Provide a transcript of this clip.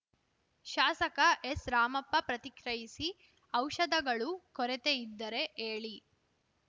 ಶಾಸಕ ಎಸ್‌ರಾಮಪ್ಪ ಪ್ರತಿಕ್ರಿಯಿಸಿ ಔಷಧಗಳು ಕೊರತೆಯಿದ್ದರೆ ಹೇಳಿ